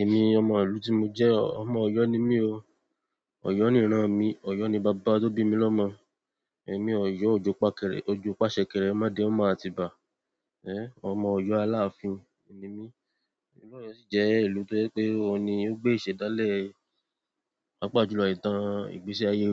Èmi ọmọ ìlú tí mo jẹ́, ọmọ Ọ̀yọ́ ni mí o. Ọ̀yọ́ nìíran mi, Ọ̀yọ́ ni bàbá tó bí mi lọ́mọ. Èmi ọ̀yọ́ ojú pakẹ̀rẹ̀, ojú pàṣẹ kẹ̀rẹ̀, má dẹ ọmọ àti bà. Ọmọ Ọ̀yọ́ alàfin ni mí. Ìlú yen si je ìlú to je pe oun ni o gbe isedale, paapaa jùlọ ìtàn ìgbésí aye,